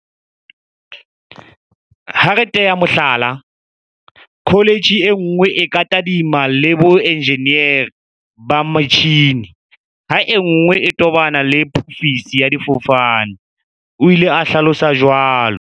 Ha re tea ka mohlala, kho letjhe e nngwe e ka tadimana le boenjenere ba metjhini ha e nngwe e tobana le phofiso ya difofane, o ile a hlalosa jwalo.